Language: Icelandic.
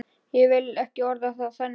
Ég vil ekki orða það þannig.